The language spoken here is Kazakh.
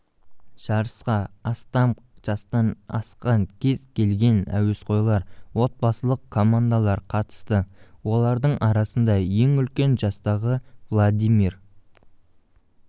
жарысқа астам жастан асқан кез келген әуесқойлар отбасылық командалар қатысты олардың арасында ең үлкені жастағы владимир